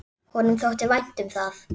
Honum þótti vænt um það.